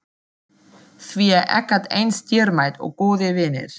Því ekkert er eins dýrmætt og góðir vinir.